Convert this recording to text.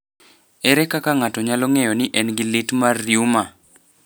Ere kaka ng’ato nyalo ng’eyo ni en gi liet mar reuma?